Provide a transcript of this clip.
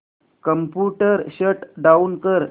computer shut down कर